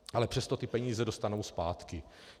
Ale přesto ty peníze dostanou zpátky.